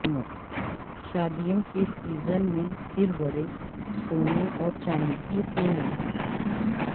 شادیوں کے سیزن میں پھر بڑھے سونے اور چاندی کی قیمت